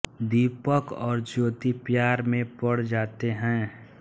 दीपक और ज्योति प्यार में पड़ जाते हैं